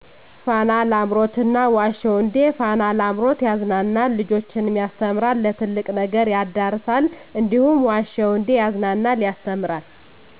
ፋና ላምሮት እና ዋሸሁ እንዴ ፋና ላምሮት ያዝናናል ልጆችንም ያስተምራል ለትልቅ ነገር ያዳርሳል እንዲሁም ዋሸሁ እዴ ያዝናናል ያስተምራል።